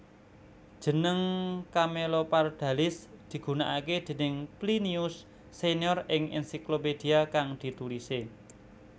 Jeneng camelopardalis digunakaké déning Plinius senior ing ensiklopedia kang ditulisé